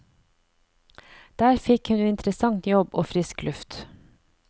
Der fikk hun interessant jobb og frisk luft.